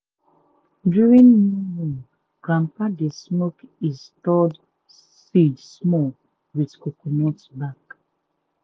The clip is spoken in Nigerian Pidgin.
during new moon grandpapa dey smoke e stored seed small with coconut back.